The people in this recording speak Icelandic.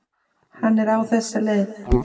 Hann er á þessa leið